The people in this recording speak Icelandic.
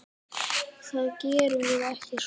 Það gerum við ekki svona.